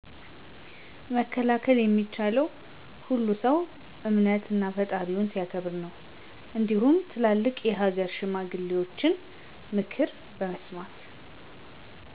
መከላከል የሚቻለው ሁሉም ሰው እምነት እና ፈጣሪውን ሲያከብር ነው እንዲሁም ትላልቅ የሃገር ሽማግሌዎችን ምክር በመስማት